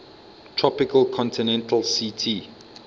tropical continental ct